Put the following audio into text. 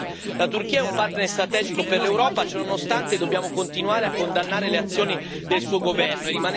Ciononostante, dobbiamo continuare a condannare le azioni del suo governo e rimanere fermi nelle conseguenze nelle relazioni con l'UE.